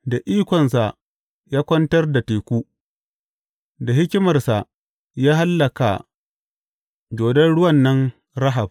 Da ikonsa ya kwantar da teku; da hikimarsa ya hallaka dodon ruwan nan Rahab.